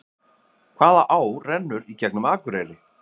Hvaða á rennur í gegnum Akureyri?